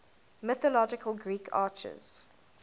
mythological greek archers